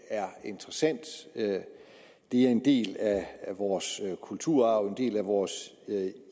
er interessant det er en del af vores kulturarv og en del af vores